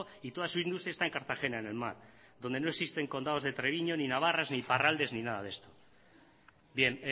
y toda su industria está en cartagena en el mar donde no existen condados de treviño ni navarras ni iparraldes ni nada de esto bien